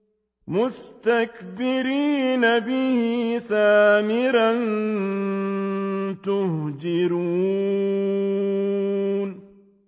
مُسْتَكْبِرِينَ بِهِ سَامِرًا تَهْجُرُونَ